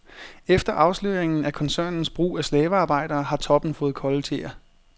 Efter afsløringen af koncernens brug af slavearbejdere har toppen fået kolde tæer.